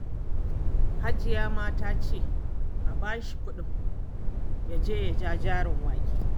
Hajiya ma ta ce a ba shi kuɗi ya je ya ja jarin wake